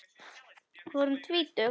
Við vorum tvítug.